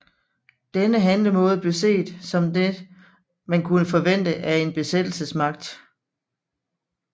Denne handlemåde blev set som den man kunne forvente af en besættelsesmagt